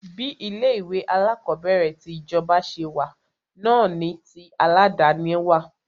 Bí ilé ìwé alákọ̀berẹ̀ ti ìjọba ṣe wà náà ni tí aládàni wà.